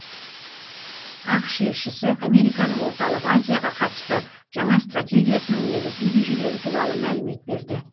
ақш елшісі американың орталық азияға қатысты жаңа стратегиясының негізгі ережелері туралы мәлімет берді